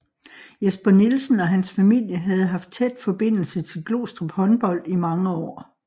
Jesper Nielsen og hans familie havde haft tæt forbindelse til Glostrup Håndbold i mange år